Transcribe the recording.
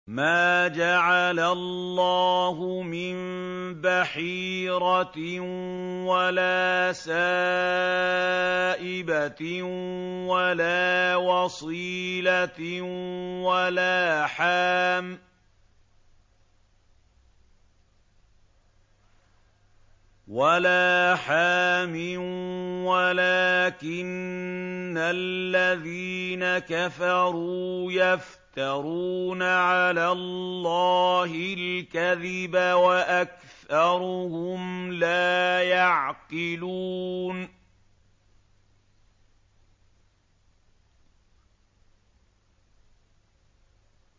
مَا جَعَلَ اللَّهُ مِن بَحِيرَةٍ وَلَا سَائِبَةٍ وَلَا وَصِيلَةٍ وَلَا حَامٍ ۙ وَلَٰكِنَّ الَّذِينَ كَفَرُوا يَفْتَرُونَ عَلَى اللَّهِ الْكَذِبَ ۖ وَأَكْثَرُهُمْ لَا يَعْقِلُونَ